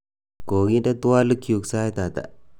koginde twolikyuk sait ata